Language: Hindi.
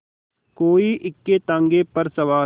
कोई इक्केताँगे पर सवार